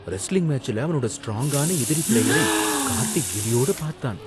Wrestling மேட்ச்ல அவனோட ஸ்ட்ராங்கான எதிரி பிளேயரை கார்த்திக் கிலியோட பார்த்தான்.